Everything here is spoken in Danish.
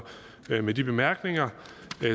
med de bemærkninger